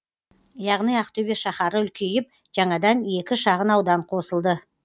яғни ақтөбе шаһары үлкейіп жаңадан екі шағын аудан қосылды